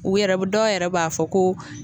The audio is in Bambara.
U yɛrɛ dɔw yɛrɛ b'a fɔ ko